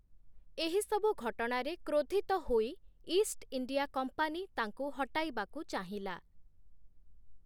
ଏହିସବୁ ଘଟଣାରେ କ୍ରୋଧିତ ହୋଇ ଇଷ୍ଟ ଇଣ୍ଡିଆ କମ୍ପାନୀ ତାଙ୍କୁ ହଟାଇବାକୁ ଚାହିଁଲା ।